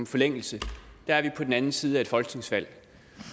forlængelse er vi på den anden side af et folketingsvalg